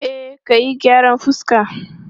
E, ka yi gyaran fuska.